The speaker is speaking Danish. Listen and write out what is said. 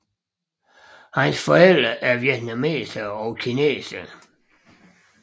Hans forældre er vietnamesere og kinesere